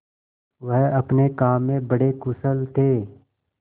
वह अपने काम में बड़े कुशल थे